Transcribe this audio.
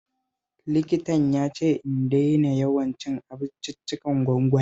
Likitan ya ce in daina yawan cin abinciccikan gwangwani